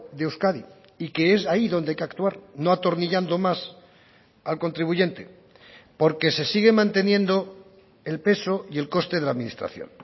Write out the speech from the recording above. de euskadi y que es ahí donde hay que actuar no atornillando más al contribuyente porque se sigue manteniendo el peso y el coste de la administración